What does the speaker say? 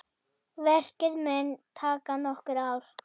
Verkið mun taka nokkur ár.